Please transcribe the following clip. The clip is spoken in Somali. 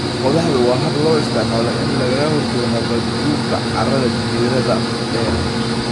Qodaxdu waa hab loo isticmaalo in lagaga hortago nabaadguurka carrada jiirada dheer.